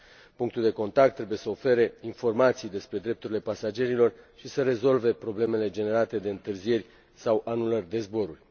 Punctul de contact trebuie să ofere informații despre drepturile pasagerilor și să rezolve problemele generate de întârzieri sau anulări de zboruri.